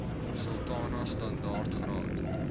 sultana standaard graad